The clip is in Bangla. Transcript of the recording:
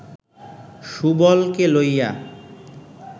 সুবলকে লইয়া